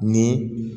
Ni